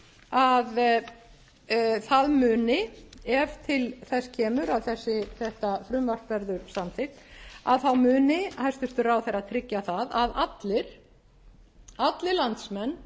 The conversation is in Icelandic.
að það muni ef til þess kemur að þetta frumvarp verður samþykkt að þá muni hæstvirtur ráðherra tryggja það að allir landsmenn